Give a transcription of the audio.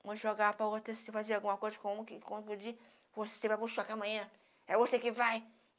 vamos jogar para o outro, esse, fazer alguma coisa com o você vai para o choque amanhã, é você que vai.